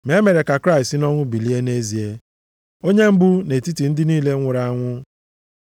Ma e mere ka Kraịst si nʼọnwụ bilie nʼezie, onye mbụ nʼetiti ndị niile nwụrụ anwụ.